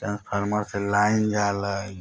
ट्रैन्स्फॉर्मर से लाइन जाला हई।